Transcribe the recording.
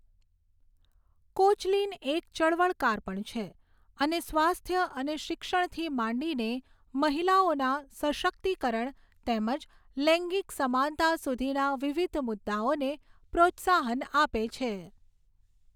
Koechlin એક ચળવળકાર પણ છે અને સ્વાસ્થ્ય અને શિક્ષણથી માંડીને મહિલાઓના સશક્તિકરણ તેમજ લૈંગિક સમાનતા સુધીના વિવિધ મુદ્દાઓને પ્રોત્સાહન આપે છે.